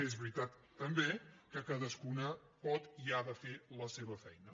és veritat també que cadascuna pot i ha de fer la seva feina